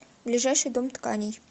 ближайший дом тканей